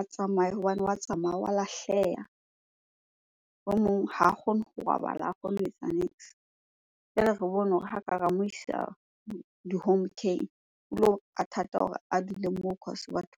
a tsamaye hobane wa tsamaya, wa lahleha. O mong ha a kgone ho robala, ha kgone ho etsa niks. Jwale re bone hore ha ka ra mo isa di-home care-ng o lo a thata hore a dule moo cause batho